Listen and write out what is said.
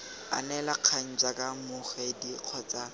anela kgang jaaka mmogedi kgotsa